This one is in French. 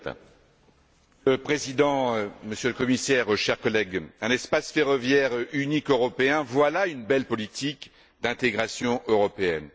Monsieur le Président, Monsieur le Commissaire, chers collègues, un espace ferroviaire unique européen, voilà une belle politique d'intégration européenne.